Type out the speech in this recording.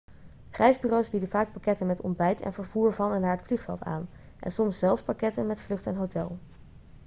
reisbureaus bieden vaak pakketten met ontbijt en vervoer van en naar het vliegveld aan en soms zelfs pakketten met vlucht en hotel